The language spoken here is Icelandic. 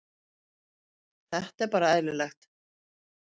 Þetta er bara eðlilegt.